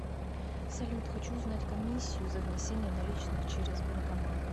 салют хочу узнать комиссию за внесение наличных через банкомат